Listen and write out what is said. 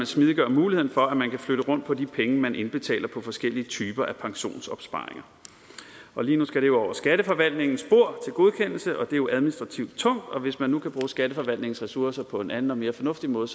smidiggør muligheden for at man kan flytte rundt på de penge man indbetaler på forskellige typer af pensionsopsparinger lige nu skal det over skatteforvaltningens bord godkendelse og det er jo administrativt tungt hvis man nu kan bruge skatteforvaltningens ressourcer på en anden og mere fornuftig måde